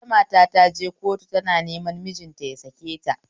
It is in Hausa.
Wata mata taje kotu tana neman mijinta yasaketa